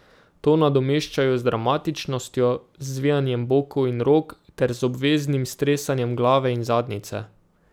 To nadomeščajo z dramatičnostjo, z zvijanjem bokov in rok ter z obveznim stresanjem glave in zadnjice.